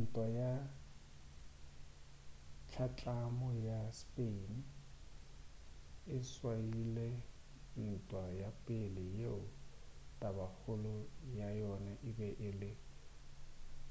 ntwa ya hlatlamo ya spain e swaile ntwa ya pele yeo tabakgolo ya yona ebe e le